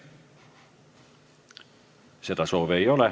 Kõnesoove ei ole.